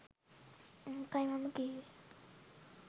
ඒකයි මම කීවේ